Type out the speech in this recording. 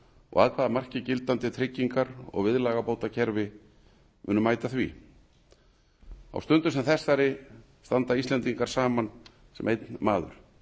og að hvaða marki gildandi tryggingar og viðlagabótakerfi munu mæta því á stundu sem þessari stöndum við íslendingar saman sem einn maður